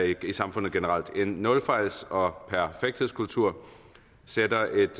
i samfundet generelt en nulfejls og perfekthedskultur sætter et